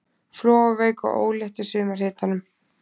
Flogaveik og ólétt í sumarhitunum.